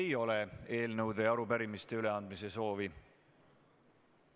Ei ole eelnõude ja arupärimiste üleandmise soovi.